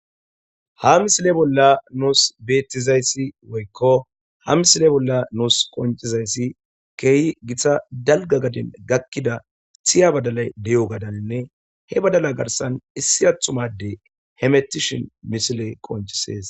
ha misile bolla nuus beettizayssi woykko ha misile bolla nuus qoncizayssi keehi githa dalga gadin gakkida tiya badalay de7o gadaninne he badala garsan issi athumade hemetishin misile qoncisees